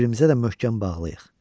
Bir-birimizə də möhkəm bağlıyıq.